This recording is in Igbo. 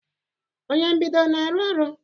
Onye mbido na-arụ ọrụ?